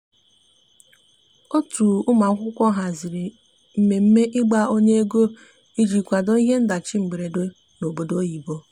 otu ụmụakwụkwọ haziri mmeme igba ọnya ego ịjị kwado ihe ndachi mgberede n'obodo oyibo